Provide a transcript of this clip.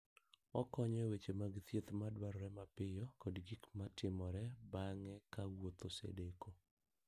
Okonyo e weche mag thieth madwarore mapiyo kod gik ma timore bang' ka wuoth osedeko.